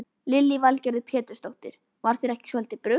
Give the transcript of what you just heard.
Lillý Valgerður Pétursdóttir: Var þér ekki svolítið brugðið?